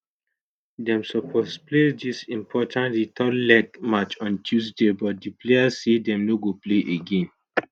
dem suppose play dis important return leg match on tuesday but di players say dem no go play again